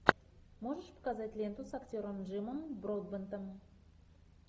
можешь показать ленту с актером джимом бродбентом